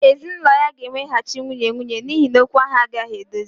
Ezinụlọ ya ga-eweghachi nwunye nwunye n'ihi na okwu ahụ agaghị edozi